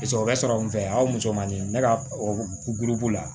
O bɛ sɔrɔ min fɛ a musomanin ne ka guduru la